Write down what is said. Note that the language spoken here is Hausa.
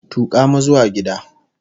Tuka mu zuwa gida!